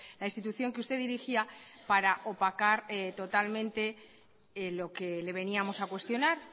la institución que usted dirigía para opacar totalmente lo que le veníamos a cuestionar